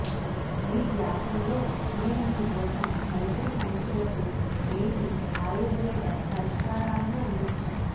ఈ వ్యాసంలో మేము మీ కోసం నెలసరి సమస్యలకు మేటి ఆయుర్వేద పరిష్కారాలను అందించాం